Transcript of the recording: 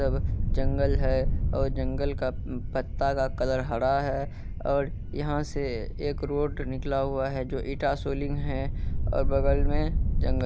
जब जंगल है और जंगल का उम्म पत्ता का कलर हरा है। और यहाँ से एक रोड निकला हुआ है जो इटा सोलीन है। और बगल मे जंगल--